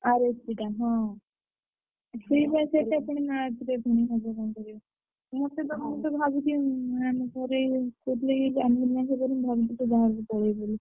RSC ଟା ହଁ।